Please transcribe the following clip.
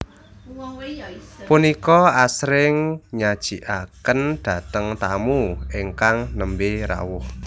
Punika asring nyajikaken dateng tamu ingkang nembe rawuh